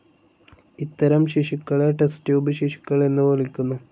ഇത്തരം ശിശുക്കളെ ടെസ്റ്റ്ട്യൂബ് ശിശുക്കൾ എന്നു വിളിക്കുന്നു.